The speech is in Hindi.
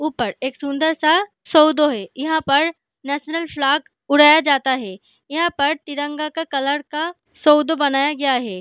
ऊपर एक सुंदर सा सोधो है यहाँ पर नेशनल फ्लैग उड़ाया जाता है यहाँ पर तिरंगा का कलर का सौधो बनाया गया है।